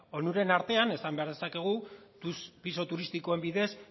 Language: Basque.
onuren artean esan behar dezakegu pisu turistikoen bidez